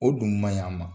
O dun man ɲi a ma